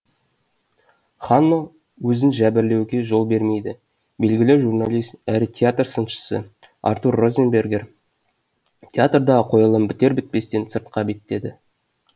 ханно өзін жәбірлеуге жол бермейді белгілі журналист әрі театр сыншысы артур розенбергер театрдағы қойылым бітер бітпестен сыртқа беттеді